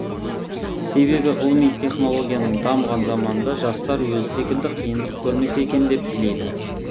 себебі ғылыми технологияның дамыған заманында жастар өзі секілді қиындық көрмесе екен деп тілейді